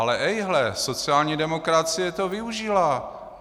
Ale ejhle, sociální demokracie toho využila.